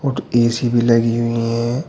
और ए_सी भी लगी हुई हैं।